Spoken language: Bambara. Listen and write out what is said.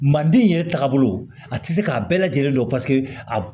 Manden yɛrɛ taabolo a tɛ se k'a bɛɛ lajɛlen dɔn paseke a